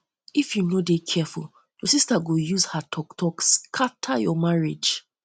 if you no dey um careful you um sista go use her talk talk take scatter your marriage